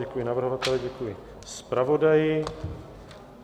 Děkuji navrhovateli, děkuji zpravodaji.